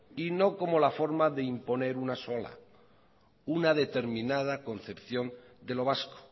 y no como la forma de imponer una sola una determinada concepción de lo vasco